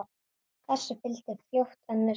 Þessu fylgdi fljótt önnur frétt